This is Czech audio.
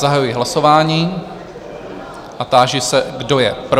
Zahajuji hlasování a táži se, kdo je pro?